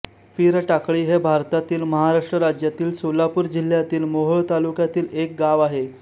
पिरटाकळी हे भारतातील महाराष्ट्र राज्यातील सोलापूर जिल्ह्यातील मोहोळ तालुक्यातील एक गाव आहे